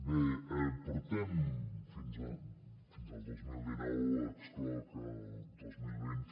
bé portem fins al dos mil dinou n’excloc el dos mil vint